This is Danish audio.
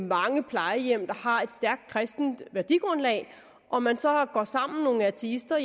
mange plejehjem der har et stærkt kristent værdigrundlag og man så er nogle ateister